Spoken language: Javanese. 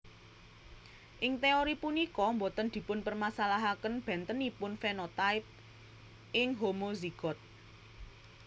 Ing teori punika boten dipunpermasalahaken bentenipun fenotipe ing homozigot